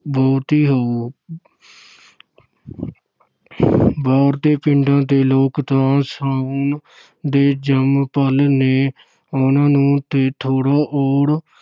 ਬਹੁਤੀ ਹੋਊ ਬਾਰ ਦੇ ਪਿੰਡਾਂ ਦੇ ਲੋਕ ਤਾਂ ਸਾਉਣ ਦੇ ਜੰਮ-ਪਲ ਨੇ, ਉਹਨਾਂ ਨੂੰ ਤੇ ਥੋੜ੍ਹਾ ਔਰ